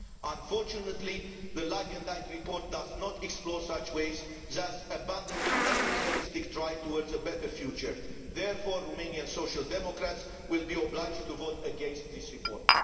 Unfortunately, the Lagendijk report does not explore such ways thus abandoning any realistic drive towards a better future. Therefore, Romanian Social Democrats will be obliged to vote against this report.